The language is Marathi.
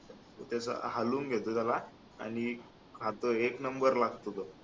त्याच हालवून घेतो त्याला आणि आता एक number लागतो बघ